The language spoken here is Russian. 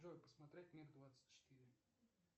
джой посмотреть миг двадцать четыре